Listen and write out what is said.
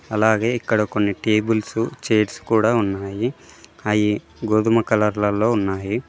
అలాగే ఇక్కడ కొన్ని టేబుల్స్ చైర్స్ కూడా ఉన్నాయి అయి గోధుమ కలర్లలో ఉన్నాయి.